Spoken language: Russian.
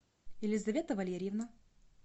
елизавета валерьевна